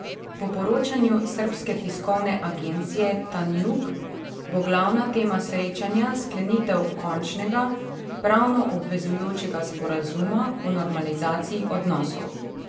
Po poročanju srbske tiskovne agencije Tanjug bo glavna tema srečanja sklenitev končnega, pravno obvezujočega sporazuma o normalizaciji odnosov.